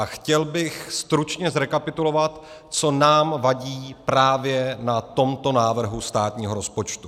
A chtěl bych stručně zrekapitulovat, co nám vadí právě na tomto návrhu státního rozpočtu.